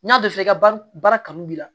N'i y'a bɛɛ f'i ka baara kanu b'i la